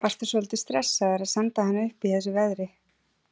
Varstu svolítið stressaður að senda hana upp í þessu veðri?